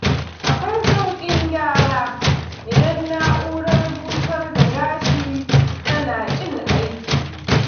Akwai sauƙin gyara idan na'urar busar da gashi tana ƙin aiki.